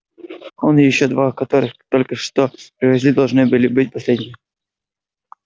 он и ещё два которых только что привезли должны были быть последними